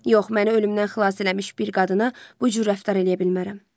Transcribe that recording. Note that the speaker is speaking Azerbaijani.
Yox, məni ölümdən xilas eləmiş bir qadına bu cür rəftar eləyə bilmərəm.